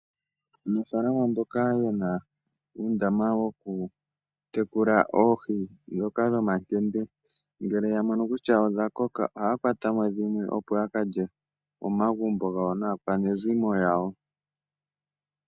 Aanafalama mboka yena uundama wokutekula oohi dhomakende ngele yamono kutya dhimwe odha koka ohaakwatamo dhimwe opo yakalye komagumbo naakwanezimo yawo.